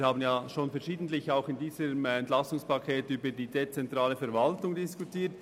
Wir haben bereits verschiedentlich, auch im Rahmen dieses EP, über die dezentrale Verwaltung diskutiert.